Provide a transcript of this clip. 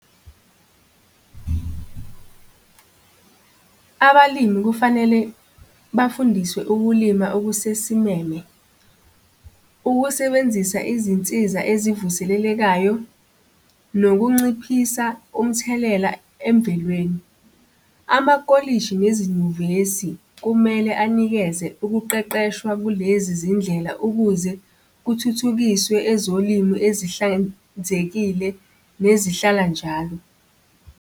Abalimi kufanele bafundiswe ukulima okusesimeme. Ukusebenzisa izinsiza ezivuselelekayo nokunciphisa umthelela emvelweni. Amakolishi nezinyuvesi kumele anikeze ukuqeqeshwa kulezi zindlela ukuze kuthuthukiswe ezolimo ezihlanzekile nezihlala njalo.